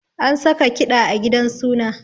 An saka kiɗa a gidan suna